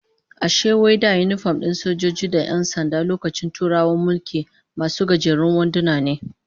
Ashe wai da yinifom din sojoji da 'yan sanda lokacin Turawan mulki, masu gajerun wanduna ne?